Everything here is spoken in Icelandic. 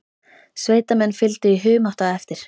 Sveitamenn fylgdu í humátt á eftir.